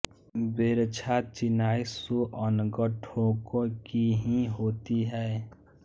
बेरद्दा चिनाई सो अनगढ़ ढोकों की ही होती है